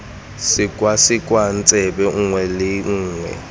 sekwasekwa tsebe nngwe le nngwe